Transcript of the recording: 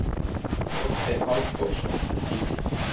Þorsteinn Halldórsson þýddi.